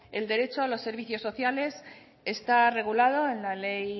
el derecho a los servicios sociales está regulado en la ley